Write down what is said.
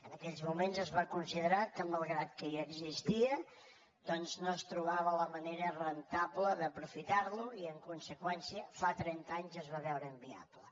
en aquells moments es va considerar que malgrat que ja existia doncs no es trobava la manera rendible d’aprofitar lo i en conseqüència fa trenta anys es va veure inviable